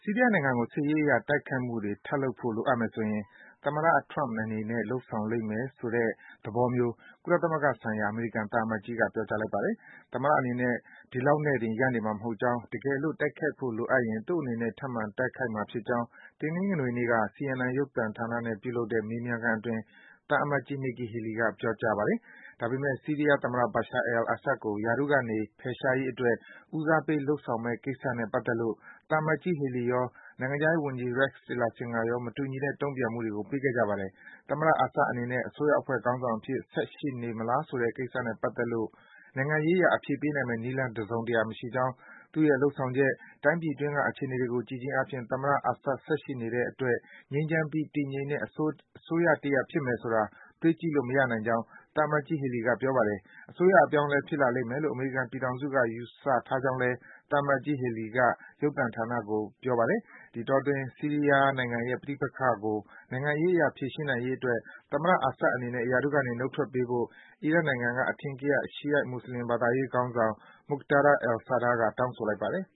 ီးယားနိုင်ငံကို စစ်ရေးအရ တိုက်ခိုက်မှုတွေ ထပ်လုပ်ဖို့လိုအပ်မယ်ဆိုရင် သမ္မတ Donald Trump အနေနဲ့ လုပ်ဆောင်လိမ့်မယ်ဆိုတဲ့ သဘောမျိုး ကုလသမဂ္ဂဆိုင်ရာ အမေရိကန်သံအမတ်ကြီးက ပြောကြားလိုက်ပါတယ်။ သမ္မတအနေနဲ့ ဒီလောက်နဲ့တင် ရပ်နေမှာ မဟုတ်ကြောင်း၊ တကယ်လို့ တိုက်ခိုက်ဖို့ လိုအပ်ရင် သူ့အနေနဲ့ ထပ်မံ တိုက်ခိုက်မှာ ဖြစ်ကြောင်း တနင်္ဂနွေနေ့က CNN ရုပ်သံဌာနနဲ့ ပြုလုပ်တဲ့ မေးမြန်းခန်းအတွင်း သံအမတ်ကြီး Nikki Haley က ပြောကြားပါတယ်။ ဒါပေမယ့် ဆီးရီးယားသမ္မတ Bashar al-Assad ကို ရာထူးကနေ ဖယ်ရှားရေးအတွက် ဦးစားပေး လုပ်ဆောင်မယ့်ကိစ္စမယ့်ကိစ္စနဲ့ ပတ်သက်လို့ သံအမတ်ကြီး Haley ရော၊ နိုင်ငံခြားရေးဝန်ကြီး Rex Tillerson ကတော့ မတူညီတဲ့ တုံ့ပြန်မှုတွေကို ပေးခဲ့ကြပါတယ်။ သမ္မတ Assad အနေနဲ့ အစိုးရအဖွဲ့ ခေါင်းဆောင်အဖြစ် ဆက်ရှိနေမလားဆိုတဲ့ကိစ္စနဲ့ ပတ်သက်လို့ နိုင်ငံရေးအရ အဖြေပေးနိုင်မယ့် နည်းလမ်း တစုံတရာ မရှိကြောင်း၊ သူ့ရဲ့ လုပ်ဆောင်ချက်၊ တိုင်းပြည်အတွင်းက အခြေအနေတွေကို ကြည့်ခြင်းအားဖြင့် သမ္မတ Assad ဆက်ရှိနေတဲ့ အတွက် ငြိမ်းချမ်းပြီး တည်ငြိမ်တဲ့ အစိုးရတစ်ဖြစ်မယ်ဆိုတာ တွေးကြည့်လို့ မရနိုင်ကြောင်း သံအမတ်ကြီး Haley က ပြောပါတယ်။ အစိုးရအပြောင်းအလဲ ဖြစ်လာလိမ့်မယ်လို့ အမေရိကန်ပြည်ထောင်စုက ယူဆထားကြောင်းလည်း သံအမတ်ကြီး Haley က CNN ရုပ်သံဌာနကို ပြောပါတယ်။ ဒီအတောအတွင်း ဆီးရီးယားနိုင်ငံရဲ့ ပဋိပက္ခကို နိုင်ငံရေးအရ ဖြေရှင်းနိုင်ရေးအတွက် သမ္မတ Assad အနေနဲ့ ရာထူးကနေ နှုတ်ထွက်ပေးဖို့ အီရတ်နိုင်ငံက အထင်ကရ ရှီယိုက် မွတ်ဆလင် ဘာသာရေးခေါင်းဆောင် Muqtada al-Sadr က တောင်းဆိုလိုက်ပါတယ်